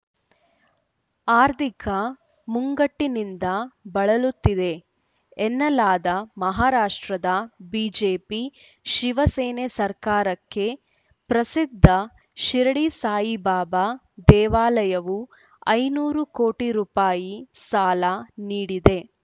ಆರ್ಥಿಕ ಮುಗ್ಗಟ್ಟಿನಿಂದ ಬಳಲುತ್ತಿದೆ ಎನ್ನಲಾದ ಮಹಾರಾಷ್ಟ್ರದ ಬಿಜೆಪಿಶಿವಸೇನೆ ಸರ್ಕಾರಕ್ಕೆ ಪ್ರಸಿದ್ಧ ಶಿರಡಿ ಸಾಯಿಬಾಬಾ ದೇವಾಲಯವು ಐನೂರು ಕೋಟಿ ರುಪಾಯಿ ಸಾಲ ನೀಡಿದೆ